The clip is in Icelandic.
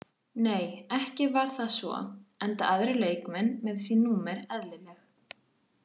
Nei ekki var það svo enda aðrir leikmenn með sín númer eðlileg.